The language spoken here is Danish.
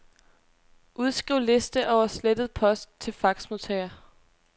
Udskriv liste over slettet post til faxmodtager.